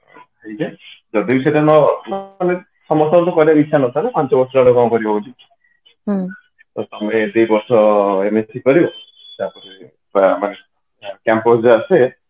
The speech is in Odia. ଯଦି ବି ସେଇଟା ମାନେ ସମସ୍ତଙ୍କର କରିବାକୁ ଇଛା ନଥାଏ ନା ପାଞ୍ଚ ବର୍ଷ ଗୋଟେ କଣ କରିବ ତ ତମେ ଏତିକି ବର୍ଷ MSC କରିବେ ତାପରେ campus ଯୋଉ ଆସେ